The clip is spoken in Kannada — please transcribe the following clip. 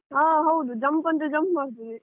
ಹ ಹೌದು jump ಅಂದ್ರೆ jump ಮಾಡ್ತದೆ.